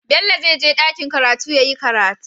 Bello zai je dakiin karatu yayi karatu